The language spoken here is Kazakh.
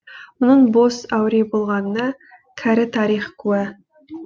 мұның бос әуре болғанына кәрі тарих куә